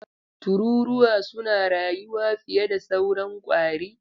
Tururuwa suna rayuwa fiye da sauran ƙwari.